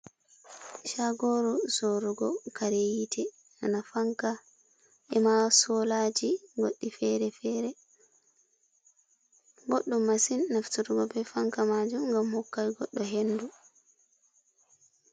Shagoru sorugo kareyite ena fanka, ema solaji goɗɗi fere-fere. boddum masin nafturugo be fanka majum, ngam hokkai goɗɗo hendu.